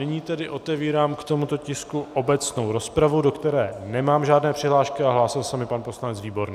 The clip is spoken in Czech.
Nyní tedy otevírám k tomuto tisku obecnou rozpravu, do které nemám žádné přihlášky, a hlásil se mi pan poslanec Výborný.